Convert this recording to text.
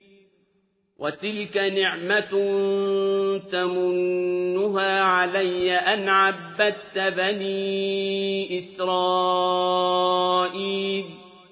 وَتِلْكَ نِعْمَةٌ تَمُنُّهَا عَلَيَّ أَنْ عَبَّدتَّ بَنِي إِسْرَائِيلَ